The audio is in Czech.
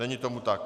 Není tomu tak.